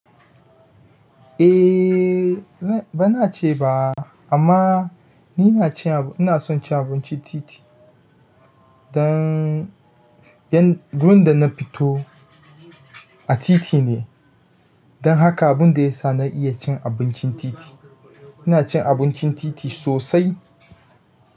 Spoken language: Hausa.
Eh, bana ce ba, amma ni ina cin, ina son cin abincin titi. Dan, don, gurin da na fito a titi ne. Don haka abun da ya sa na iya cin abincin titi. Ina cin abincin titi sosai.